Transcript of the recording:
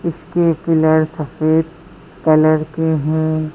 इसके पिलर सफेद कलर के हैं।